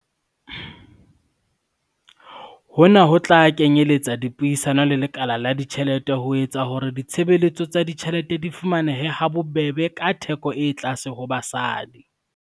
Hona ho tla kenyeletsa dipuisano le lekala la ditjhelete ho etsa hore ditshebeletso tsa ditjhelete di fumanehe ha bobebe ka theko e tlase ho basadi.